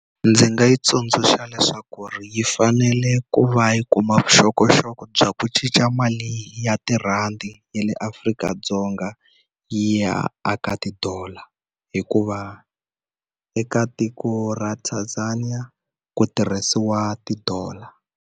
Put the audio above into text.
Ndzi nga yi tsundzuxa leswaku ri yi fanele ku va yi kuma vuxokoxoko bya ku cinca mali ya tirhandi ya le Afrika-Dzonga yi ya eka ti-dollar, hikuva eka tiko ra Tanzania ku tirhisiwa ti-dollar.